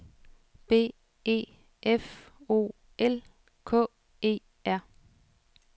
B E F O L K E R